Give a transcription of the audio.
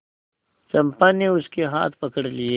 चंपा ने उसके हाथ पकड़ लिए